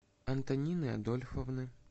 антонины адольфовны